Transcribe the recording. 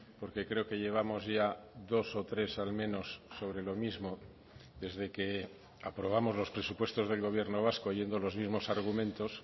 porque creo que llevamos ya dos o tres al menos sobre lo mismo desde que aprobamos los presupuestos del gobierno vasco oyendo los mismos argumentos